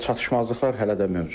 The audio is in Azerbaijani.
Çatışmazlıqlar hələ də mövcuddur.